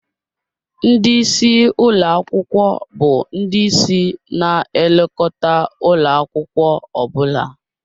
Ndị isi ụlọ akwụkwọ bụ ndị ịsị na-elekọta ụlọ akwụkwọ ọ bụla